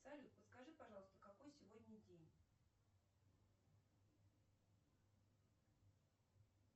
салют подскажи пожалуйста какой сегодня день